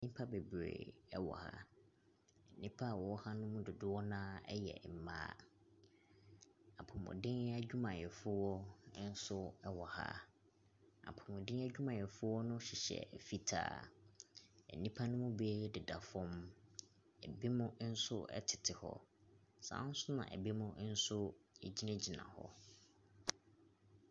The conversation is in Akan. Nnipa bebree wɔ ha. Nnipa a wɔwɔ ha no mu dodoɔ no ara yɛ mmaa. Apɔmuden adwumayɛfo nso wɔ ɛwɔ ha. Apɔmuden adwumayɛfoɔ no hyehyɛ fitaa. Nnipa no mu bi deda fam. Binom nso tete hɔ. Saa ara nso na binom nso gyinagyina hɔ.